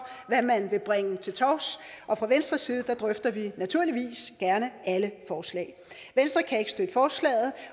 hvad man vil bringe til torvs og fra venstres side drøfter vi naturligvis gerne alle forslag venstre kan ikke støtte forslaget